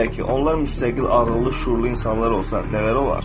Kim bilər ki, onlar müstəqil ağıllı şüurlu insanlar olsa nələr olar?